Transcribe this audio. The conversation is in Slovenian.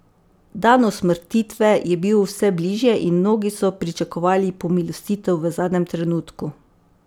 Dan usmrtitve je bil vse bližje in mnogi so pričakovali pomilostitev v zadnjem trenutku.